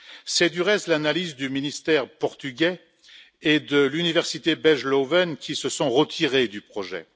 C'est du reste l'analyse du ministère portugais et de l'université belge Leuven, qui se sont retirés du projet.